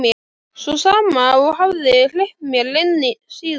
Sú sama og hafði hleypt mér inn síðast.